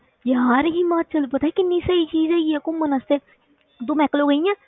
ਯਾਰ ਹਿਮਾਚਲ ਪਤਾ ਕਿੰਨੀ ਸਹੀ ਚੀਜ਼ ਹੈਗੀ ਹੈ ਘੁੰਮਣ ਵਾਸਤੇ ਤੂੰ ਮੈਕਲੋ ਗਈ ਆਂ?